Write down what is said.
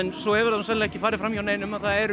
svo hefur það sennilega ekki farið fram hjá neinum að það eru